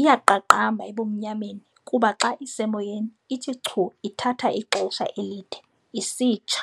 Iyaqaqamba ebumnyameni kuba xa isemoyeni ithi chu ithatha ixesha elide "isitsha".